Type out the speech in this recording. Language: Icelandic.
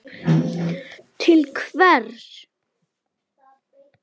Til hvers?